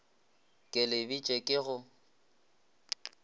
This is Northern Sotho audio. ke le bitše ke go